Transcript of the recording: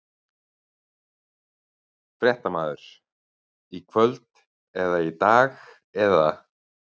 Fréttamaður: Í kvöld eða í dag eða?